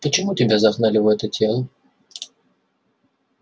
почему тебя загнали в это тело